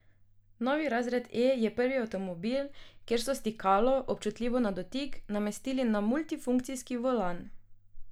Novi razred E je prvi avtomobil, kjer so stikalo občutljivo na dotik namestili na multifunkcijski volan.